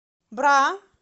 бра